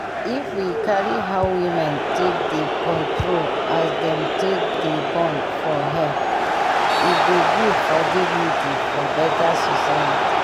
if we carry how women take dey control as dem take dey born for head e go good for dignity for beta society